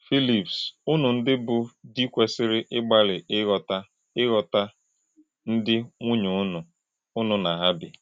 Phíllips, “únù ndị́ bụ́ dì̄ kwesìrì̄ ìgbàlị̄ íghòtá̄ íghòtá̄ ndị́ nwúnyē únù, únù na hà bì̄.”